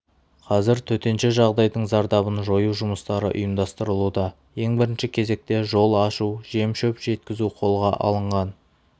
қазір төтенше жағдайдың зардабын жою жұмыстары ұйымдастырылуда ең бірінші кезекте жол ашу жем-шөп жеткізу қолға алынған